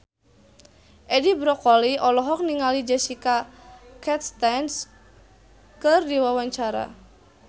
Edi Brokoli olohok ningali Jessica Chastain keur diwawancara